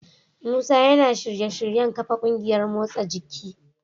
Musa yana shirye-shiryen kafa kungiyar motsa jiki.